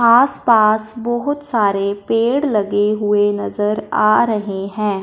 आस पास बहोत सारे पेड़ लगे हुए नजर आ रहे हैं।